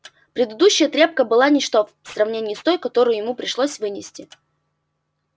предыдущая трёпка была ничто в сравнении с той которую ему пришлось вынести